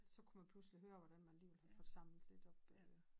Så kunne man pludslig høre hvordan man alligevel havde fået samlet lidt op øh